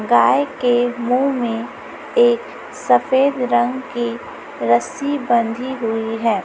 गाय के मुंह में एक सफेद रंग की रस्सी बंधी हुई है।